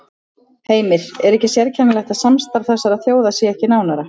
Heimir: Er ekki sérkennilegt að samstarf þessara þjóða sé ekki nánara?